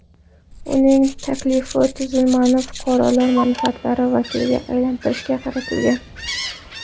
Uning taklifi tuzilmani fuqarolar manfaatlari vakiliga aylantirishga qaratilgan.